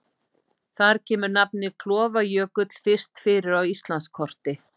Þar kemur nafnið Klofajökull fyrst fyrir á Íslandskorti.